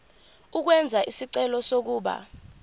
ukwenza isicelo sokuba